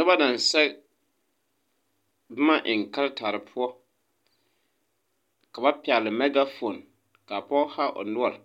Noba naŋ sɛge bomma eŋ karetarre poɔ ka ba pɛgle mɛgafon kaa poge haa o noɔre